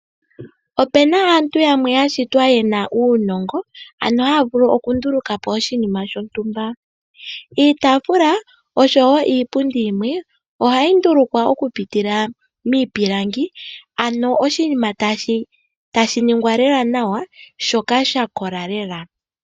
Opuna aantu yamwe ya shitwa yena uunongo ano haya vulu oku ndulukapo oshinima shontumba. Iitaafula osho woo iipundi yimwe ohayi ndulukwa oku pitila miipilangi ano oshinima tashi ningwa lela nawa shikale sha kola lela.